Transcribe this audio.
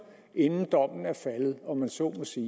inden dommen er faldet om jeg så må sige